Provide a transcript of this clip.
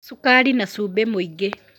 cukari na cumbĩ mũingĩ